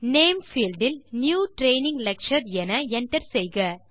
name field இல் new training lecture என enter செய்க